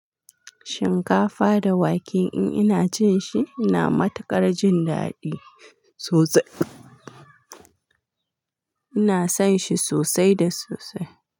Shinkafa da wake in ina cin shi, ina matuƙar jin daɗi sosai. Ina son shi sosai da sosai.